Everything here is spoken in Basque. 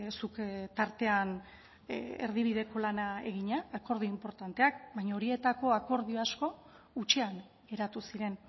zuk tartean erdibideko lana egina eta akordio inportanteak baina horietako akordio asko hutsean geratu ziren